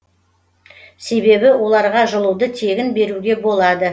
себебі оларға жылуды тегін беруге болады